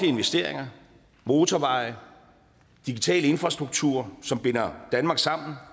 investeringer motorveje digital infrastruktur som binder danmark sammen